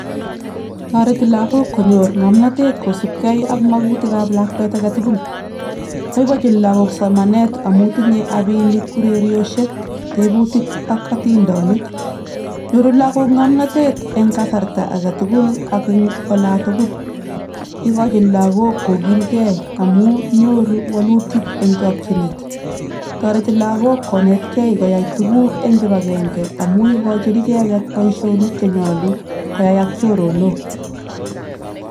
Tos toretitoi ano appininikab somanet lakok kosoman komnye?